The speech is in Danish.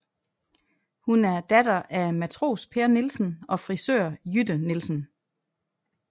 Hun er datter af matros Per Nielsen og frisør Jytte Nielsen